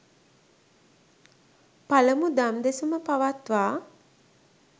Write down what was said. පළමු දම් දෙසුම පවත්වා